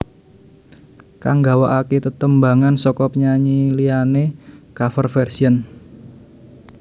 Kang nggawakaké tetembangan saka penyanyi liyané cover version